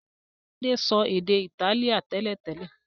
Tade so èdè Itálíà télètélè.